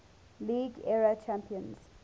league era champions